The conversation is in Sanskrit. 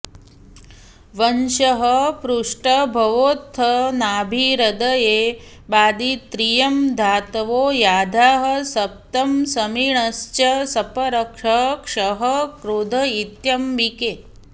वंशः पृष्ठभवोऽथ नाभिहृदये बादित्रयं धातवो याद्याः सप्त समीरणश्च सपरः क्षः क्रोध इत्यम्बिके